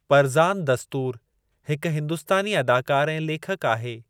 परज़ान दस्तूर हिकु हिंदुस्तानी अदाकार ऐं लेखकु आहे।